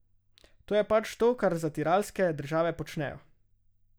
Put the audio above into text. To je pač to, kar zatiralske države počnejo.